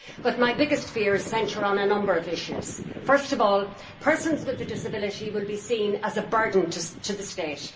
But my biggest fears centre on a number of issues. Firstly, persons with a disability will be seen as a burden to the state.